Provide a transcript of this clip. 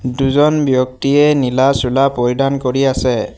দুজন ব্যক্তিয়ে নীলা চোলা পৰিধান কৰি আছে।